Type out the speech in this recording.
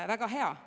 Väga hea.